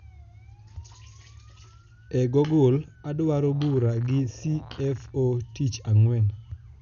e google adwaro bura gi cfo tich angwen